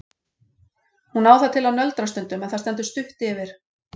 Hún á það til að nöldra stundum en það stendur stutt yfir.